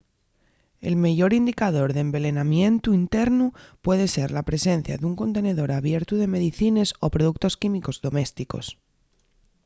el meyor indicador d’envelenamientu internu puede ser la presencia d’un contenedor abiertu de medicines o productos químicos domésticos